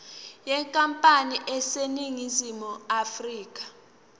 yenkampani eseningizimu afrika